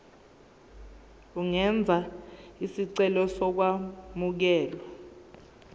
ungenza isicelo sokwamukelwa